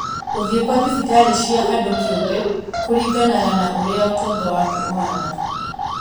Gũthiĩ kwa thibitarĩ cia andũ kĩũmbe kũringanaga na ũrĩa ũtonga waku ũhana